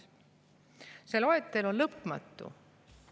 See loetelu on lõpmatu.